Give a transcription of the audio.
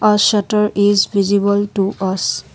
a shutter is visible to us.